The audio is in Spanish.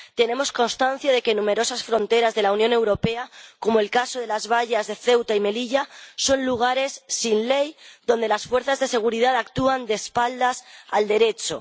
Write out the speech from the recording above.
Tenemos constancia de que numerosas fronteras de la Unión Europea, como el caso de las vallas de Ceuta y Melilla, son lugares sin ley, donde las fuerzas de seguridad actúan de espaldas al Derecho.